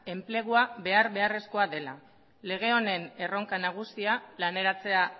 enplegua behar beharrezkoa dela lege honen erronka nagusia laneratzea